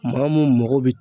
Maa mun mɔgɔ bɛ